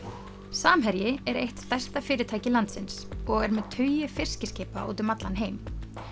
samherji er eitt stærsta fyrirtæki landsins og er með tugi fiskiskipa úti um allan heim